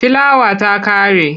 Filawa ta ƙare.